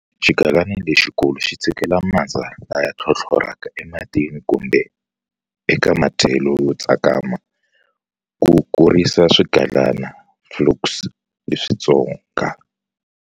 Xigalana lexikulu xi tshikela mandza laya tlhotlhoraka ematini kumbe eka madyelo yo tsakama, ku kurisa swigalana, flukes, leswitsonga.